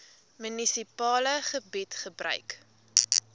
munisipale gebied gebruik